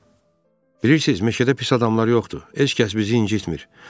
Bilirsiniz, meşədə pis adamlar yoxdur, heç kəs bizi incitmir.